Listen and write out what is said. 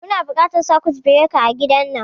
Muna buƙatan sakut bireka a gidan nan